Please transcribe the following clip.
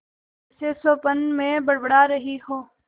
जैसे स्वप्न में बड़बड़ा रही हो